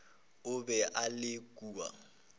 o be a ile kua